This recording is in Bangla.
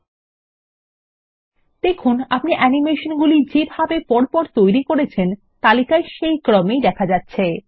লক্ষ্য করুন আপনি অ্যানিমেশনগুলি যেভাবে পরপর তৈরী করেছেন তালিকায় সেই ক্রমেই দেখা যাচ্ছে